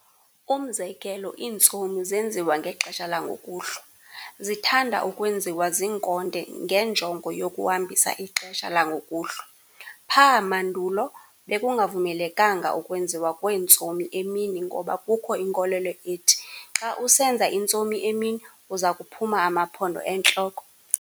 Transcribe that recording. umzekelo iintsomi zenziwa ngexesha langokuhlwa, zithanda ukwenziwa ziinkonde ngenjongo yokuhambisa ixesha langokuhlwa. Pha!mandulo bekungavumelekanga ukwenziwa kweentsomi emini ngoba kukho inkolelo ethi xa usenza intsomi emini uzakuphuma amaphondo entloko.